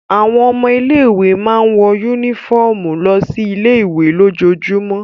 Àwọn ọmọ ilé-ìwé máa ń wọ únífọ́ọ́mù lọ sí ilé-ìwé lójoojúmọ́.